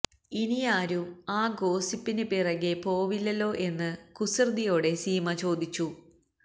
ഇനിയാരും ആ ഗോസിപ്പിന് പിറകെ പോവില്ലല്ലോ എന്ന് കുസൃതിയോടെ സീമ ചോദിച്ചു